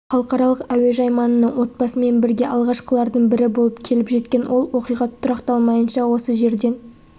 халықаралық әуежай маңына отбасымен бірге алғашқылардың бірі болып келіп жеткен ол оқиға тұрақталмайынша осы жерден